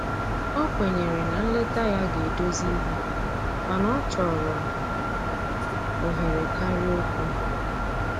O kwenyere na nleta ya ga edozi ihe mana ọchọrọ ohere karịa okwụ